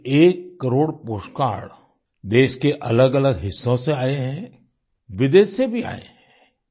ये एक crore postcard देश के अलगअलग हिस्सों से आये हैं विदेश से भी आये हैं